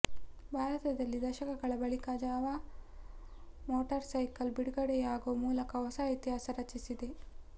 ಭಾರತದಲ್ಲಿ ದಶಕಗಳ ಬಳಿಕ ಜಾವಾ ಮೋಟಾರ್ಸೈಕಲ್ ಬಿಡುಗಡೆಯಾಗೋ ಮೂಲಕ ಹೊಸ ಇತಿಹಾಸ ರಚಿಸಿದೆ